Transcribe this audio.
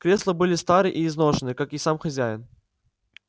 кресла были стары и изношены как и сам хозяин